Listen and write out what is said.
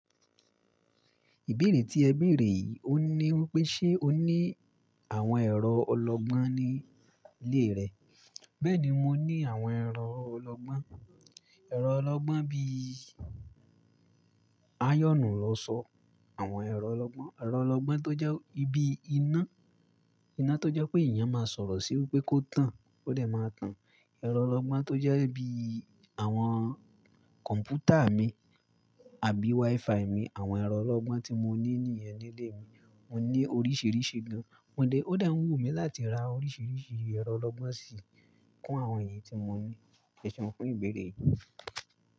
Ìbéèrè tí ẹ bèèrè yìí, ó ní wípé ṣe o ní àwọn ẹ̀rọ ọlọ́gbọ́n ní ilé rẹ. Bẹ́ẹ̀ni mo ní àwọn ẹ̀rọ ọlọ́gbọ́n. Ẹ̀rọ ọlọ́gbọ́n bí i ayọnù ilọ́sọ, àwọn ẹ̀rọ ọlọ́gbọ́n, ẹ̀rọ ọlọ́gbọ́n tó jẹ́ ibi iná, iná tó jẹ́ pé ènìyàn máa sọ̀rọ̀ sí i wípé kó tàn ó dẹ̀ máa tàn. Ẹ̀rọ ọlọ́gbọ́n tó jẹ́ bí i àwọn kọ̀m̀pútà mi àbí WiFi mi. Àwọn ẹ̀rọ ọlọ́gbọ́n tí mo ní nìyẹn nílé mi. Mo ní oríṣìíríṣìí gan. Ó dẹ̀ ń wù mí láti ra oríṣìíríṣìí ẹ̀rọ ọlọ́gbọ́n sì kún àwọn èyí tí mo ní. Ẹ ṣéun fún ìbéèrè yìí.